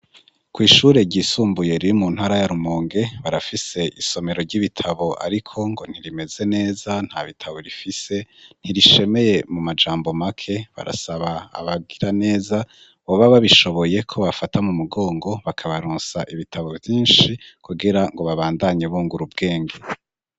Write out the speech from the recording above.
Kwishure ryisumbuye riri mu ntara ya rumonge barafise isomero ry'ibitabo ariko ngo ntirimeze neza nta bitabo rifise ntirishemeye mu majambo make barasaba abagira neza boba babishoboye ko bobafata mu mugongo bakabaronsa ibitabo vyinshi kugira ngo babandanye bungura ubwenge.